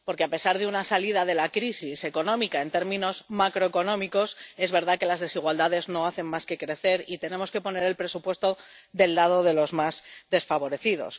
Porque, a pesar de que hemos salido de la crisis económica en términos macroeconómicos, es verdad que las desigualdades no hacen más que crecer, y tenemos que poner el presupuesto del lado de los más desfavorecidos.